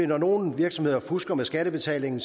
når nogle virksomheder fusker med skattebetalingen